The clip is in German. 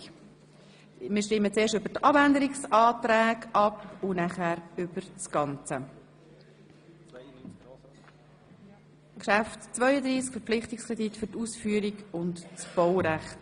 Wir stimmen zuerst über die Abänderungsanträge ab und danach über das ganze Geschäft «Verpflichtungskredit für die Ausführung und das Baurecht».